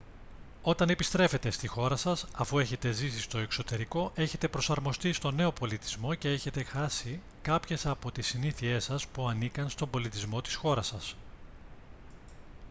όταν επιστρέφετε στη χώρα σας αφού έχετε ζήσει στο εξωτερικό έχετε προσαρμοστεί στον νέο πολιτισμό και έχετε χάσει κάποιες από τις συνήθειές σας που ανήκαν στον πολιτισμό της χώρας σας